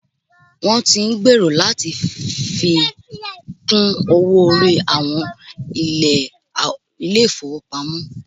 Wọn tí ń gbèrò láti fi kún owó orí àwọn ilé ìfọwọ́pamo.